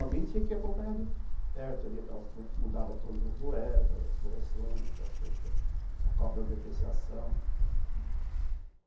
Alguém tinha que acompanhar de perto ali, como é que mudava todas as moedas, as correções, aquelas coisas, a cópia da depreciação, né, hum.